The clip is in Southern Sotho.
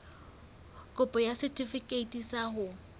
kopo ya setefikeiti sa ho